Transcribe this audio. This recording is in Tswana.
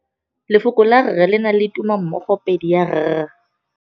Lefoko la rre le na le tumammogôpedi ya, r.